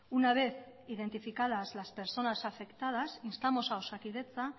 una vez identificadas las personas afectadas instamos a osakidetza